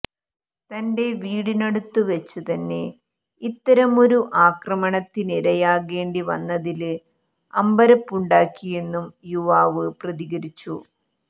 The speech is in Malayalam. തന്റെ വീടിനടുത്ത് വച്ച് തന്നെ ഇത്തരമൊരു ആക്രമണത്തിനിരയാകേണ്ടി വന്നതില് അമ്പരപ്പുണ്ടാക്കിയെന്നും യുവാവ് പ്രതികരിച്ചു